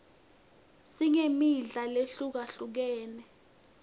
singmidla lehlukahlukene